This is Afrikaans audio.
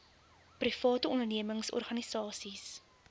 private ondernemings organisasies